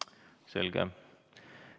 Selge.